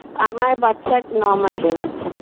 আমার বাচ্ছা ন মাসের বাচ্ছা